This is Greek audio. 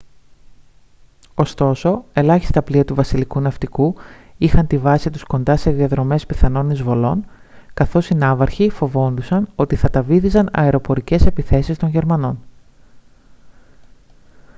ωστόσο ελάχιστα πλοία του βασιλικού ναυτικού είχαν τη βάση τους κοντά σε διαδρομές πιθανών εισβολών καθώς οι ναύαρχοι φοβόντουσαν ότι θα τα βύθιζαν αεροπορικές επιθέσεις των γερμανών